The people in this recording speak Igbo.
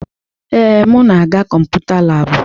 Ee, m na-aga Kọmputa laabụ.